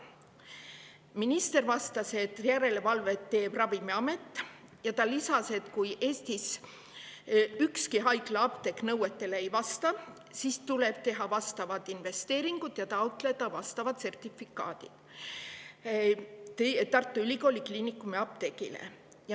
Minister vastas, et järelevalvet teeb Ravimiamet, ja ta lisas, et kui Eestis ükski haiglaapteek nõuetele ei vasta, siis tuleb teha vastavad investeeringud ja taotleda Tartu Ülikooli Kliinikumi apteegile vajalikud sertifikaadid.